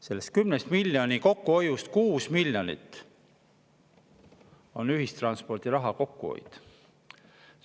Sellest 10 miljonist 6 miljonit on ühistranspordiraha kokkuhoid.